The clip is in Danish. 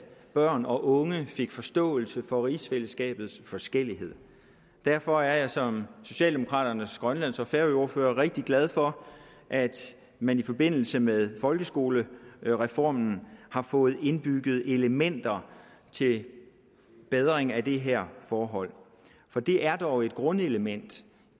børn og unge fik forståelse for rigsfællesskabets forskelligheder derfor er jeg som socialdemokraternes grønlands og færøordfører rigtig glad for at man i forbindelse med folkeskolereformen har fået indbygget elementer til bedring af det her forhold for det er dog et grundelement